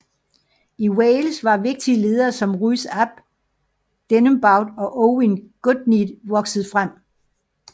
I Wales var vigtige ledere som Rhys ap Deheubarth og Owain Gwynedd vokset frem